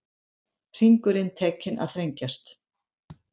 Hringurinn tekinn að þrengjast